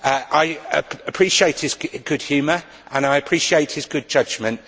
I appreciate his good humour and I appreciate his good judgement.